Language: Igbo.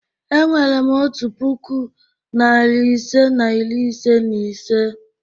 Enwerem otu puku, narị ise na iri ise na ise.